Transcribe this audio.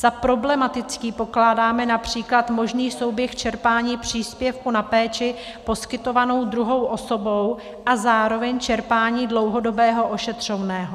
Za problematický pokládáme například možný souběh čerpání příspěvku na péči poskytovanou druhou osobou a zároveň čerpání dlouhodobého ošetřovného.